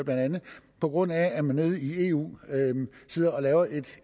på grund af at man nede i eu sidder og laver et